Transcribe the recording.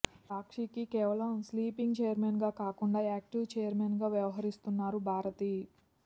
సాక్షికి కేవలం sleeping chairman గా కాకుండా యాక్టివ్ చైర్మన్ గా వ్యవహరిస్తున్నారు భారతి